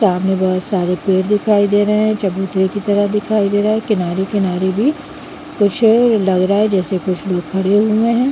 सामने बहोत सारे पेड़ दिखाई दे रहे है चबूतरे की तरह दिखाई दे रहा है किनारे-किनारे भी कुछ लग रहा है जैसे कुछ लोग खड़े हुए है।